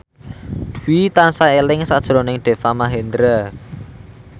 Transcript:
Dwi tansah eling sakjroning Deva Mahendra